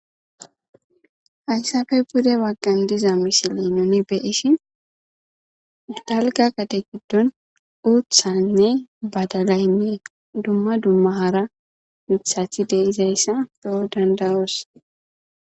Hayssappe pude bagan diza missile nuni be'ishi dalga gade gidon uththaynne badalay, dumma dumma hara miththati dizayssa be'o danddayos.